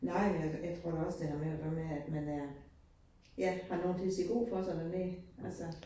Nej, men jeg jeg tror da også det har med at gøre med, at man er har nogen til at sige god for sig dernede altså